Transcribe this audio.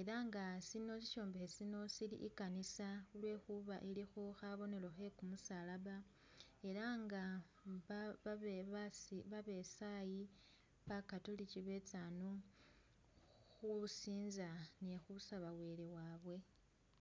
elanga sino sishombekhe sino sili ikanisa lwekhuba ilikho khabonelo khe kumusalaba elanga babesayi bakatulichi betsa hano khusinza ni khusaba Wele wabye.